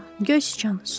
Göy siçan, su ver.